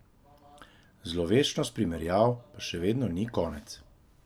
Zloveščosti primerjav pa še vedno ni konec.